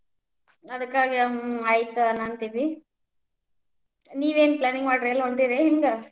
ಅದಕ್ಕಾಗ್ ಆಯಿತ್ ಅನಾಂತೇವಿ, ನೀವೇನ್ planning ಮಾಡಿರಿ ಎಲ್ಲ್ ಹೋಂಟಿರಿ ಹೆಂಗ್?